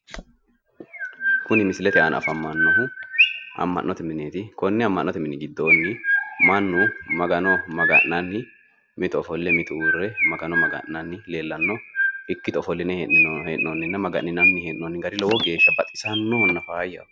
Kuni misilete aana afamannohu amma'note mineeti. Konne amma'note mini giddoonni mannu Magano maga'nanni mitu ofolle uurre Magano maga'nanni leellanno ikkito ikkito ofolline hee'noonni gari lowo geeshsha baxxisannohonna faayyaho .